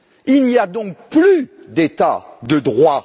Il n'y a donc plus d'État de droit.